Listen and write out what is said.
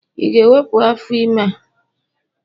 Ị ga-ewepụ afọ ime a?